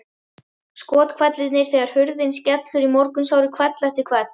Skothvellirnir þegar hurðin skellur í morgunsárið hvell eftir hvell.